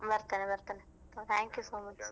ಬರ್ತೇನೆ ಬರ್ತೇನೆ thank you so much .